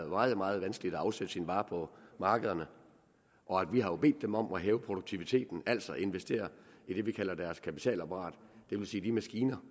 meget meget vanskeligt at afsætte sine varer på markederne og vi har jo bedt dem om at hæve produktiviteten altså investere i det vi kalder deres kapitalapparat det vil sige de maskiner